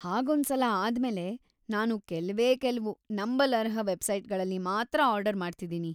ಹಾಗೊಂದ್ಸಲ ಆದ್ಮೇಲೆ ನಾನು ಕೆಲ್ವೇ ಕೆಲ್ವು ನಂಬಲರ್ಹ ವೆಬ್ಸೈಟ್‌ಗಳಲ್ಲಿ ಮಾತ್ರ ಆರ್ಡರ್‌ ಮಾಡ್ತಿದೀನಿ.